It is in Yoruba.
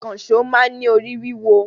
Ìkànṣọ́ máa ń ní orí wíwọ